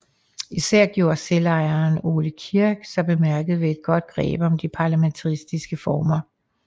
Især gjorde selvejeren Ole Kirk sig bemærket ved et godt greb om de parlamentariske former